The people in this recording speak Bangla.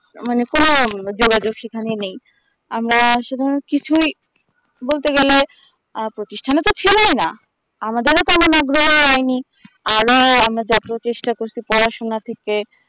মানে কোন যোগাযোগ সেখানে নেই আমরা সেখানে কিছুই বলতে গেলে আ প্রতিষ্ঠান তো ছিলেই না আমাদেরও কেন আরো আমরা জাতীয় চেষ্টা করছি পড়াশোনা থেকে